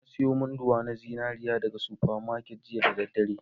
Na sayi munduwa na zinariya daga super market jiya da daddare